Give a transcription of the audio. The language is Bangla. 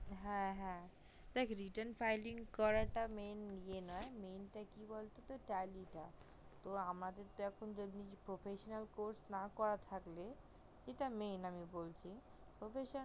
হ্যা হ্যা হ্যা দেখ return filing করা টা main ইয়ে না main টা কি বলতো tally টা তো আমাদের এখন professor course না করার থাকলে সেটা main আমি বলছি professor